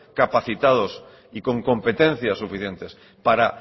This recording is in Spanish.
capacitados y con competencias suficientes para